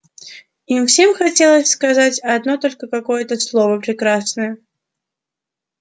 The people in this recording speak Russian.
им всем хотелось сказать одно только какое-то слово прекрасное